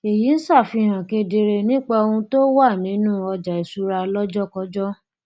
èyí ń ṣàfihàn kedere nípa ohun tó wà wà nínú ọjàìṣúra lọjọkọjọ